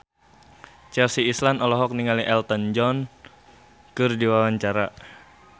Chelsea Islan olohok ningali Elton John keur diwawancara